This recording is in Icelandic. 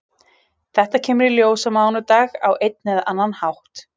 Þetta kemur í ljós á mánudag á einn eða annan hátt.